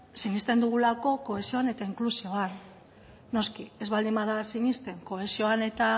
sinesten dugulako kohesioan eta inklusioan noski ez baldin bada sinesten kohesioan eta